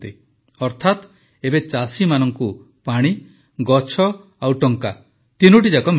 ଅର୍ଥାତ ଏବେ ଚାଷୀମାନଙ୍କୁ ପାଣି ଗଛ ଆଉ ଟଙ୍କା ତିନିଟି ଯାକ ମିଳିବ